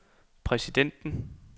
præsidenten